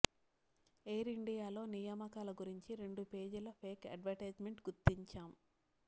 air ఇండియాలో నియామకాల గురించి రెండు పేజీల ఫేక్ అడ్వర్టైజ్మెంట్ గుర్తించాం